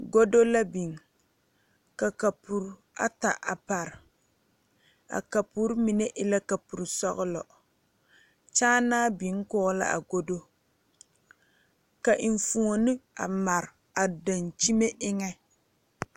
Godo la biŋ ka kapure ata a pare a kapure mine e la kapure sɔglɔ kyaanaa biŋ kɔge la a godo ka enfuone a mare a daŋkyime eŋɛ.